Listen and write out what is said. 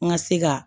N ka se ka